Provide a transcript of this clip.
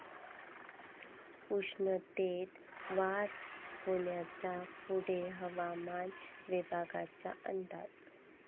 उष्णतेत वाढ होण्याचा पुणे हवामान विभागाचा अंदाज